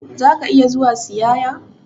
Za ka iya zuwa siyaƴa?